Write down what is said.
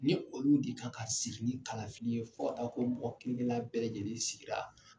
Ni olu de kan ka sigi ni kalafili ye fɔ aw k'o mɔgɔ kelen kelen na bɛɛ lajɛlen sigira.